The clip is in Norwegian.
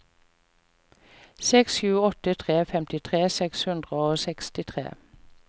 seks sju åtte tre femtitre seks hundre og sekstitre